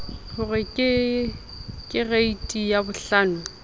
ho re ke kereiti yabohlano